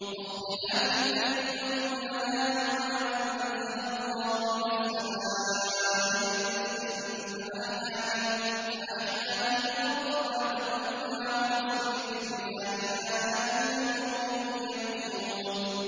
وَاخْتِلَافِ اللَّيْلِ وَالنَّهَارِ وَمَا أَنزَلَ اللَّهُ مِنَ السَّمَاءِ مِن رِّزْقٍ فَأَحْيَا بِهِ الْأَرْضَ بَعْدَ مَوْتِهَا وَتَصْرِيفِ الرِّيَاحِ آيَاتٌ لِّقَوْمٍ يَعْقِلُونَ